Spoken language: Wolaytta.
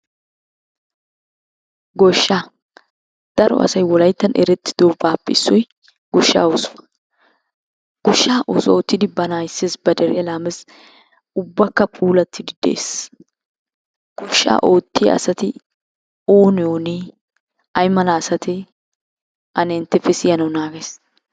Goshshaa daro asay wolayittan erettidobaappe issoy goshshaa oosuwa. Goshshaa oosuwa oottidi bana ayisses ba deriya laammes. Ubbakka puulattidi des. Goshshaa oottiya asati oone oone? Ayimala asatee? Ane entteppe siyanawu naagayis.